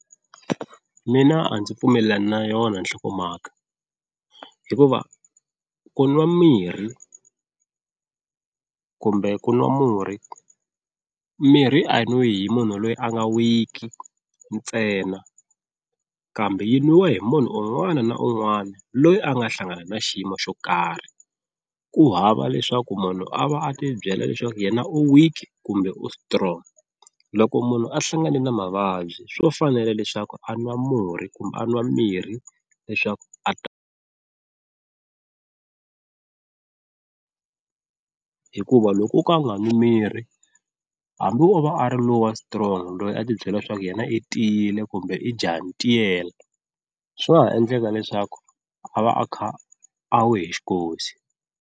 Mina a ndzi pfumelelani na yona nhlokomhaka hikuva ku nwa mirhi kumbe ku nwa murhi mirhi a yi nwiwi hi munhu loyi a nga weak ntsena kambe yi nwiwa hi munhu un'wana na un'wana loyi a nga hlangana na xiyimo xo karhi, ku hava leswaku munhu a va a ti byela leswaku yena u weak kumbe u strong, loko munhu a hlangane na mavabyi swo fanela leswaku a nwa murhi kumbe a nwa mirhi leswaku a ta hikuva loko o ka a nga mimirhi hambi o va a ri lowa strong loyi a tibyelaka swa ku yena i tiyile kumbe i jaha ntiyela swi nga ha endleka leswaku a va a kha a we hi xikosi.